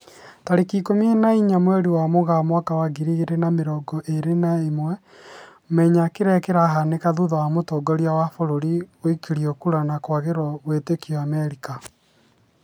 Tarĩki ikũmi na inya mweri wa Mũgaa mwaka wa ngiri igĩri na mĩrongo ĩri na ĩmwe, Menya kĩrĩa kĩrahanĩka thutha wa mũtongoria wa bũrũri guikĩrio kura ya kwagĩrwo wĩtĩkio Amerika